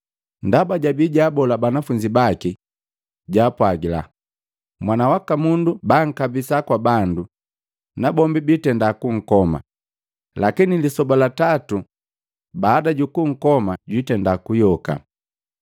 ndaba jabii jaabola banafunzi bake, jaapwagila, “Mwana waka Mundu bankabisa kwa bandu, nabombi biitenda kunkoma, lakini lisoba la tatu baada jukunkoma jwitenda kuyoka.”